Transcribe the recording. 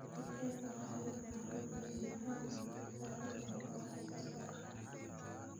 Digaagga waxay u baahan yihiin deegaan badbaado leh oo wax soo saar ah.